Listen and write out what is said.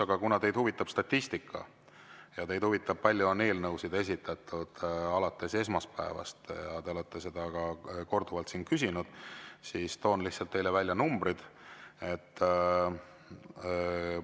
Aga kuna teid huvitab statistika ja teid huvitab, kui palju on eelnõusid esitatud alates esmaspäevast, ja te olete seda ka korduvalt küsinud, siis lihtsalt toon numbrid teile välja.